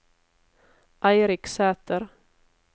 Eirik Sæter